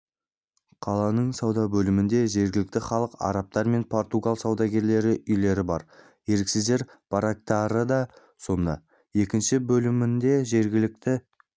қаланың сауда бөлімінде жергілікті халық арабтар мен португал саудагерлерінің үйлері бар еріксіздер барактары да сонда екінші бөлімінде жергілікті